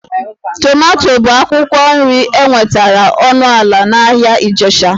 Tomato bụ akwụkwọ nri enwetara ọnụ ala n'ahịa Ijesha